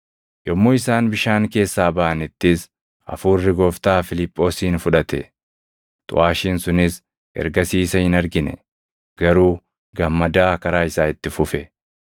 Yommuu isaan bishaan keessaa baʼanittis Hafuurri Gooftaa Fiiliphoosin fudhate; xuʼaashiin sunis ergasii isa hin argine; garuu gammadaa karaa isaa itti fufe.